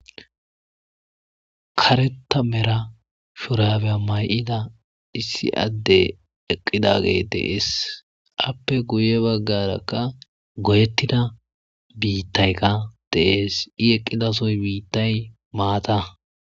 Kareta mera shorabeya may7ida issi adde eqqidagee deees appe guye baggarakka goyettida biittaykka deees i eqqidasoy biittay maata.